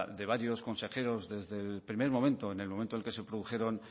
de varios consejeros desde el primer momento en el momento en el que se produjeron